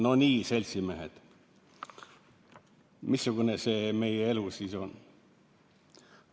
"Nonii, seltsimehed, missugune see meie elu siis on?